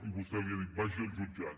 i vostè els ha dit vagi al jutjat